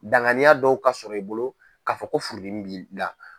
Danganiya dɔw ka sɔrɔ i bolo k'a fɔ ko furudimi bi i la.